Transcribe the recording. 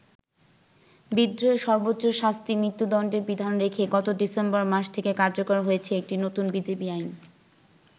বিদ্রোহের সর্বোচ্চ শাস্তি মৃত্যুদন্ডের বিধান রেখে গত ডিসেম্বর মাস থেকে কার্যকর হয়েছে একটি নতুন বিজিবি আইন।